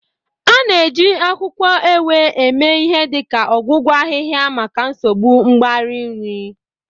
A na-eji akwukwo Ewè mee ihe dị ka ọgwụgwọ ahịhịa maka nsogbu mgbari nri.